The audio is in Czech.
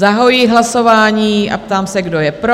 Zahajuji hlasování a ptám se, kdo je pro?